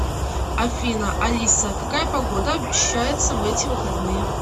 афина алиса какая погода обещается в эти выходные